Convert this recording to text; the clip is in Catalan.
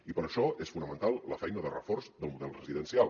i per això és fonamental la feina de reforç del model residencial